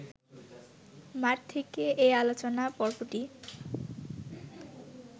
মাঠ থেকে এ আলোচনা পর্বটি